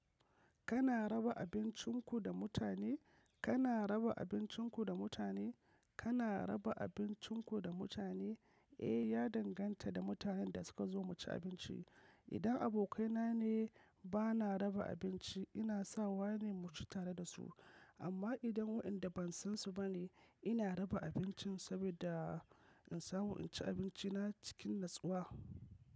Kana raba abincinku da mutane? Kana raba abincinku da mutane? Kana raba abincinku da mutane? Eh, ya danganta da mutanen da suka zo mu ci abinci. Idan abokaina ne ba na raba abinci, ina sawa ne mu ci tare da su. Amma idan waɗanda ban san su ba ne, ina raba abincin saboda in samu in ci abinci na cikin natsuwa.